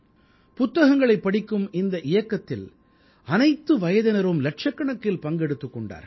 புத்தகங்களைப் படிக்கும் இந்த இயக்கத்தில் அனைத்து வயதினரும் இலட்சக்கணக்கில் பங்கெடுத்துக் கொண்டார்கள்